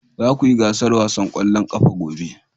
Za ku yi gasar wasan kwallon kafa gobe